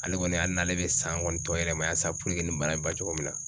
Ale kɔni hali n'ale bɛ san kɔni tɔ yɛlɛma yan san nin bana in ba cogo min na